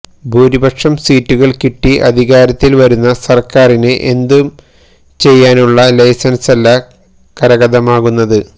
ഭൂരിപക്ഷം സീറ്റുകള് കിട്ടി അധികാരത്തില് വരുന്ന സര്ക്കാറിന് എന്തും ചെയ്യാനുള്ള ലൈസന്സല്ല കരഗതമാകുന്നത്